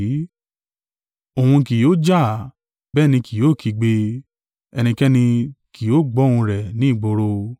Òun kì yóò jà, bẹ́ẹ̀ ni kì yóò kígbe; ẹnikẹ́ni kì yóò gbọ́ ohùn rẹ ní ìgboro.